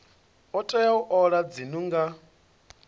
tea u ola dzinnu nga